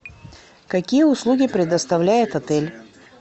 какие услуги предоставляет отель